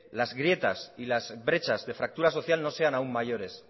las grietas y las brechas de fractura social no sean aún mayores